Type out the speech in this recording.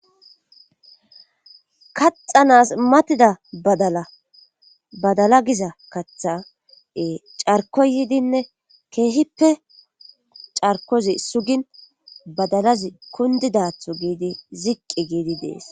Kaxanas matida badala badala giza kathae carkoyidinne keehippe carkozi sugin badalazi kundidatho giidi ziqqi giidi dees